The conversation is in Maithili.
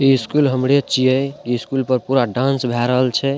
इ स्कूल हमरे छिए इ स्कूल पे पुरा डांस भेय रहल छै।